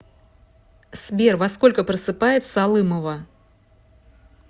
сбер во сколько просыпается алымова